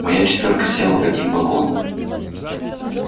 моя четвёрка села в один вагон